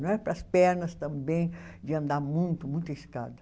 Não era para as pernas também, de andar muito, muita escada.